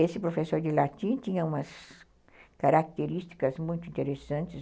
Esse professor de latim tinha umas características muito interessantes.